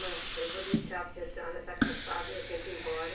Irmã, eu vou deixar porque a senhora está cansada e eu tenho que ir embora.